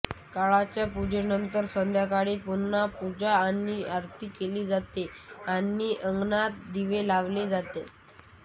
सकाळच्या पूजेनंतर संध्याकाळी पुन्हा पूजा आणि आरती केली जाते आणि अंगणात दिवे लावले जातात